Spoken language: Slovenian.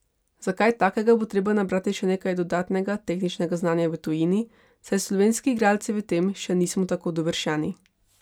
Za kaj takega bo treba nabrati še nekaj dodatnega tehničnega znanja v tujini, saj slovenski igralci v tem še nismo tako dovršeni.